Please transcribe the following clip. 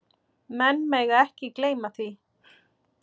Menn mega ekki gleyma því.